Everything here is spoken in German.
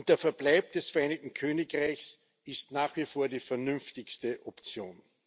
Der Verbleib des Vereinigten Königreichs ist nach wie vor die vernünftigste Option.